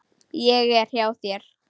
Ég er hjá þér.